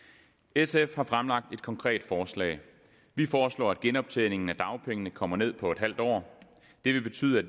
sf har fremlagt et konkret forslag vi foreslår at genoptræningen af dagpengene kommer ned på en halv år det vil betyde at